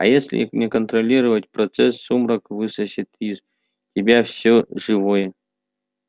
а если не контролировать процесс сумрак высосет из тебя все живое